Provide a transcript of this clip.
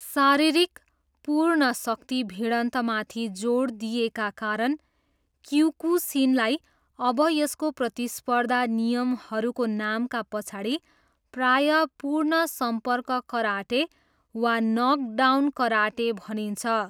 शारीरिक, पूर्ण शक्ति भिडन्तमाथि जोड दिइएका कारण, क्योकुसिनलाई अब यसको प्रतिस्पर्धा नियमहरूको नामका पछाडि प्रायः 'पूर्ण सम्पर्क कराटे' वा 'नकडाउन कराटे' भनिन्छ।